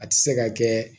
A tɛ se ka kɛ